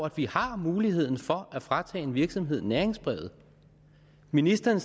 at vi har muligheden for at fratage en virksomhed næringsbrevet ministeren